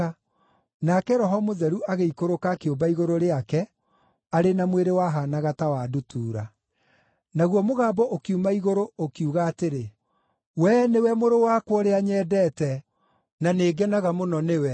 nake Roho Mũtheru agĩikũrũka akĩũmba igũrũ rĩake arĩ na mwĩrĩ wahaanaga ta wa ndutura. Naguo mũgambo ũkiuma Igũrũ ũkiuga atĩrĩ, “Wee nĩwe mũrũ wakwa ũrĩa nyendete; na nĩngenaga mũno nĩwe.”